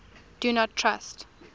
do not trust